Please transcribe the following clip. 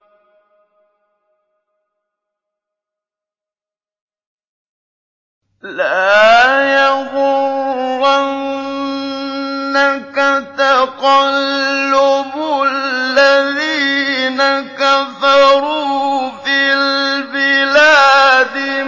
لَا يَغُرَّنَّكَ تَقَلُّبُ الَّذِينَ كَفَرُوا فِي الْبِلَادِ